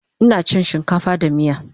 Ina chin shinkafa da miya